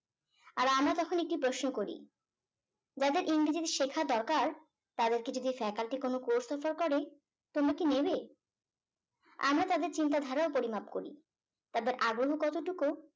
আর আমরা তখন একটি প্রশ্ন করি যাদের ইংরেজি শেখা দরকার তাদেরকে যদি faculty কোনো course offer করে তোমরা কি নেবে আমরা তাদের চিন্তাধারা ও পরিমাপ করি তাদের আগ্রহ কতটুকু